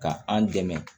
Ka an dɛmɛ